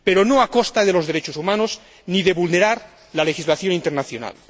Pero no a costa de los derechos humanos ni de vulnerar la legislación internacional.